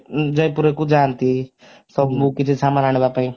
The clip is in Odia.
ଜୟପୁର କୁ ଯାନ୍ତି ସବୁ କିଛି ସାମାନ ଆଣିବା ପାଇଁ